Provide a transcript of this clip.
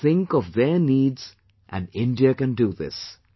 We should think of their needs and India can do this